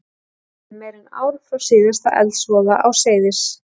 Það var liðið meira en ár frá síðasta eldsvoða á Seyðis